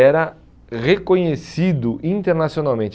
era reconhecido internacionalmente.